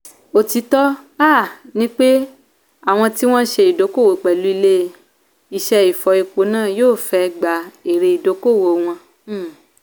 òtítọ́ um ni pé àwọn tí wọn ṣe ìdókòwò pẹ̀lú ilé ìṣe ìfọ epo náà yóò fẹ́ gba èrè ìdókòwò wọn. um